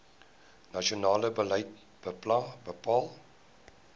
nasionale beleid bepaal